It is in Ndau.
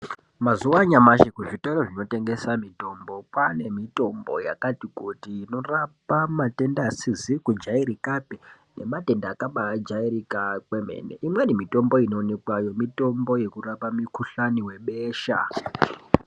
Mazuwa anyamashi kuzvitoro zvinotengesa mutombo kwaane mitombo yakati kuti inorapa matenda asizi kujairika pe nematenda akabajairika kwemene imweni mitombo inoonekweyo mitombo yekurapa mukhuhlani webesha .